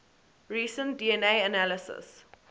recent dna analysis